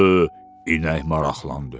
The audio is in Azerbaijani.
İnək maraqlandı.